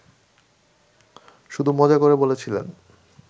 শুধু মজা করে বলেছিলেন